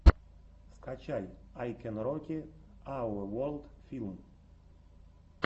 ютюб ай кэн роки ауэ ворлд фильм